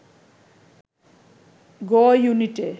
গ-ইউনিটে